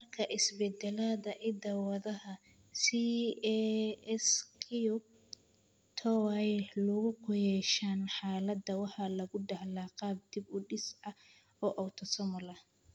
Marka isbeddellada hidda-wadaha CASQ twoay lug ku yeeshaan, xaaladda waxaa lagu dhaxlaa qaab dib-u-dhis ah oo autosomal ah.